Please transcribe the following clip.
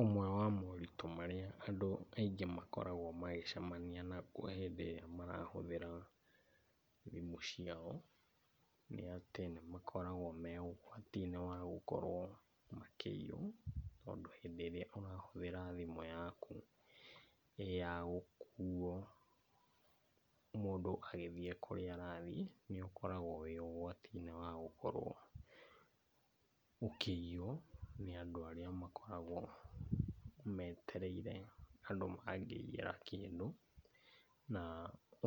Ũmwe wa moritũ marĩa andũ aingĩ makoragwo magĩcemania naguo hĩndĩ ĩrĩa marahũthĩra thimũ ciao nĩ atĩ nĩ atĩ nĩ makoragwo me ũgwati-inĩ wa gũkorwo makĩiywo. Tondũ hĩndĩ ĩrĩa ũrahũthĩra thimũ yaku ĩĩ ya gũkuo mũndũ agĩthiĩ kũrĩa arathiĩ, nĩ ũkoragwo wĩ ũgwati-inĩ wa kũiywo nĩ andũ arĩa makoragwo metereire andũ mangĩiyĩra kĩndũ.